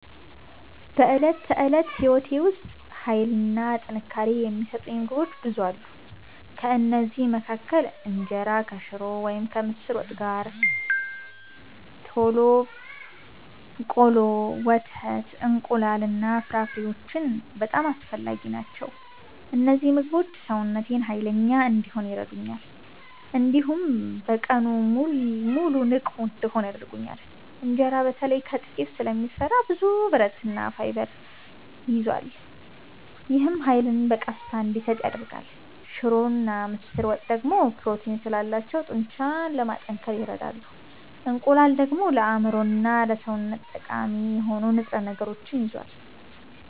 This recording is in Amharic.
በዕለት ተዕለት ሕይወቴ ውስጥ ኃይልና ጥንካሬ የሚሰጡኝ ምግቦች ብዙ አሉ። ከእነዚህ መካከል እንጀራ ከሽሮ ወይም ከምስር ወጥ ጋር፣ ቆሎ፣ ወተት፣ እንቁላል እና ፍራፍሬዎች በጣም አስፈላጊ ናቸው። እነዚህ ምግቦች ሰውነቴን ኃይለኛ እንዲሆን ይረዱኛል፣ እንዲሁም በቀኑ ሙሉ ንቁ እንድሆን ያደርጉኛል። እንጀራ በተለይ ከጤፍ ስለሚሰራ ብዙ ብረትና ፋይበር ይዟል። ይህም ኃይልን በቀስታ እንዲሰጥ ያደርጋል። ሽሮና ምስር ወጥ ደግሞ ፕሮቲን ስላላቸው ጡንቻን ለማጠናከር ይረዳሉ። እንቁላል ደግሞ ለአእምሮና ለሰውነት ጠቃሚ የሆኑ ንጥረ ነገሮችን ይዟል።